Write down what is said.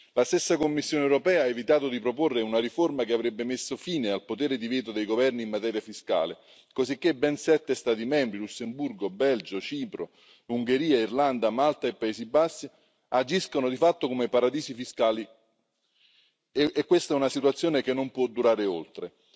La stessa Commissione europea ha evitato di proporre una riforma che avrebbe messo fine al potere di veto dei governi in materia fiscale, cosicché ben sette Stati membri, Lussemburgo, Belgio, Cipro, Ungheria, Irlanda, Malta e Paesi Bassi, agiscono di fatto come paradisi fiscali e questa è una situazione che non può durare oltre.